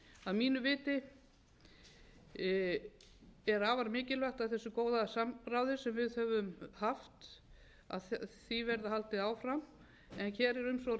að mínu viti er afar mikilvægt af þessu góða samráði sem við höfum haft því verði haldið áfram en hér er um svo risavaxið mál að ræða að öll möguleg skref